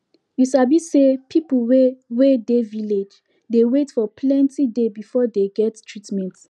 you sabi say people wey wey dey village dey wait for plenti day before dey get treatment